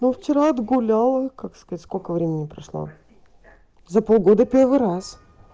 ну вчера отгуляла как сказать сколько времени прошло за полгода первый раз